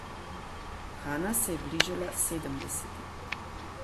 Hana se je bližala sedemdesetim.